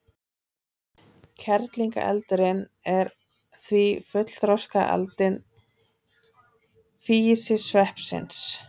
Kerlingareldurinn er því fullþroskað aldin físisveppsins.